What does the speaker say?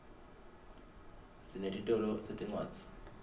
sinetitolo setincwadzi